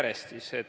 Läheme siis järjest.